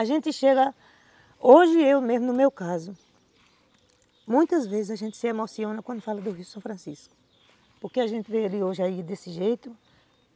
A gente chega, hoje eu mesmo, no meu caso, muitas vezes a gente se emociona quando fala do Rio São Francisco, porque a gente vê ele hoje aí desse jeito.